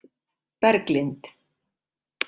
Berglind